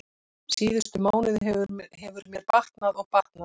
Síðustu mánuði hefur mér batnað og batnað.